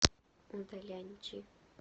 удаляньчи